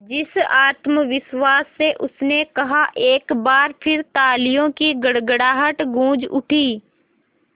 जिस आत्मविश्वास से उसने कहा एक बार फिर तालियों की गड़गड़ाहट गूंज उठी